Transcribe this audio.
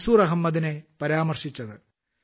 മൻസൂർ അഹമ്മദിനെ പരാമർശിച്ചത്